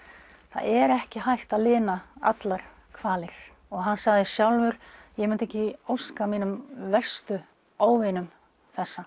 það er ekki hægt að lina allar kvalir og hann sagði sjálfur ég myndi ekki óska mínum verstu óvinum þessa